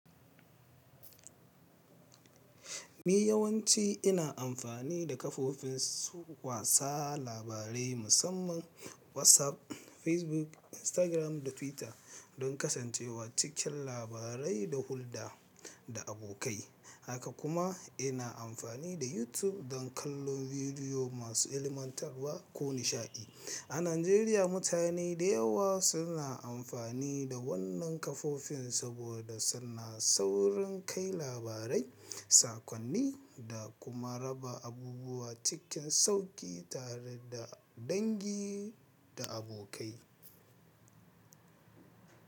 Ni yawanci ina amfani da kafofin wasa labarai musamman WhatsApp, Facebook, Instagram da Twitter don kasancewa cikin labarai da hulɗa da abokai. Haka kuma ina amfani da YouTube don kallon bidiyo masu ilmantarwa ko nishaɗi. A Najeriya, mutane da yawa suna amfani da wannan kafofin saboda suna saurin kai labarai, sakonni da kuma raba abubuwa cikin sauƙi tare da dangi da abokai.